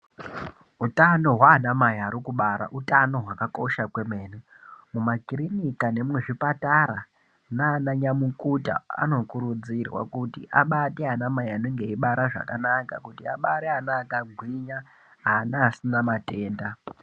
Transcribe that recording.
Utano hwaana Mai ari kubara utano hwakakosha kwemene. Mumakirinika nemuzvipatara nananyamukuta anokurudzirwa kuti abate anamai anenge eibara zvakanaka. Kuti abare ana akagwinya, ana asina matenda.